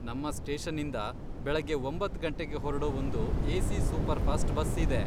ನಮ್ಮ ಸ್ಟೇಶನ್ನಿಂದ ಬೆಳಗ್ಗೆ ಒಂಬತ್ತ್ ಗಂಟೆಗೆ ಹೊರ್ಡೋ ಒಂದು ಎಸಿ ಸೂಪರ್ಫಾಸ್ಟ್ ಬಸ್ ಇದೆ.